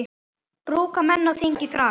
Brúka menn á þingi þras.